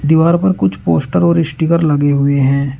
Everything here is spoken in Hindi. दीवार पर कुछ पोस्टर और स्टीकर लगे हुए हैं।